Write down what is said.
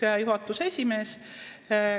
Näiteks juhatuse esimees.